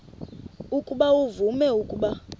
ukuba uvume ukuba